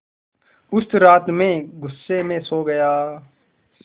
उस रात मैं ग़ुस्से में सो गया